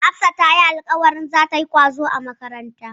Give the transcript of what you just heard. Hafsa tayi alƙawarin zata yi ƙwazo a makaranta.